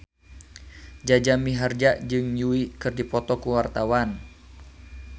Jaja Mihardja jeung Yui keur dipoto ku wartawan